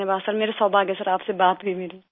धन्यवाद सिर मेरा सौभाग्य आप से बात हुई मेरी